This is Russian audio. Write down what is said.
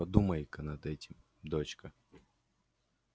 подумай-ка над этим дочка